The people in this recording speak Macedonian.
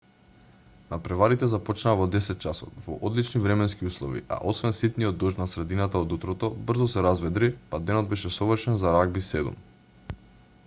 натпреварите започнаа во 10:00 часот во одлични временски услови а освен ситниот дожд на средината од утрото брзо се разведри па денот беше совршен за рагби 7